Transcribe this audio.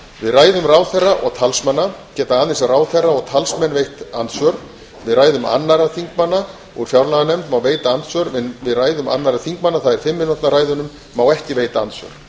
við ræðum ráðherra og talsmanna geta aðeins ráðherra og talsmenn veitt andsvör við ræðum annarra þingmanna úr fjárlaganefnd má veita andsvör við ræðum annarra þingmanna það er fimm mínútna ræðunum má ekki veita andsvör